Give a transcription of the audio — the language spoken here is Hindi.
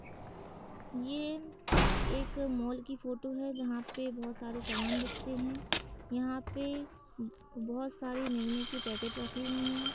ये एक मॉल की फोटो जहाँ पे बोहोत सारे समान बिकते है यहाँ पे बोहोत सारे निरमे के पैकेट रखे हैं।